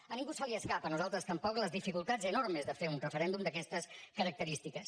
a ningú se li escapa a nosaltres tampoc les dificultats enormes de fer un referèndum d’aquestes característiques